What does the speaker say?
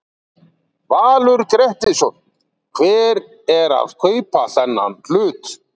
Valur Grettisson: Hver er að kaupa þennan hlut?